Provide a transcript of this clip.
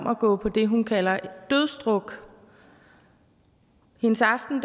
at gå på det hun kalder dødsdruk hendes aften